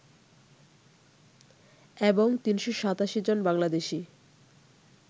এবং ৩৮৭ জন বাংলাদেশি